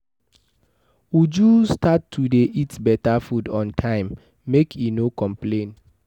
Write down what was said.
Uju start to dey eat beta food on time, make e no complain.